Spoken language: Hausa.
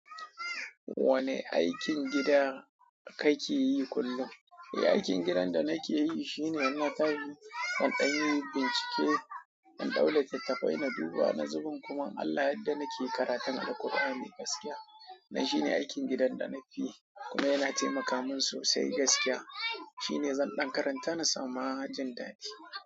Wanne aikin gida kake yi kullum? Aikin gidan da nake yi shine in na tashi in ɗan yi bincike, in ɗau littattafai na duba, wani zubin kuma in Allah ya yadda nake karatun Alqur'ani gaskiya. Dan shine aikin gidan da na fi yi kuma yana taimaka min sosai gaskiya. Shine zan ɗan karanta na samu hajjin dadi.